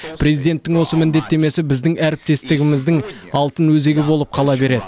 президенттің осы міндеттемесі біздің әріптестігіміздің алтын өзегі болып қала береді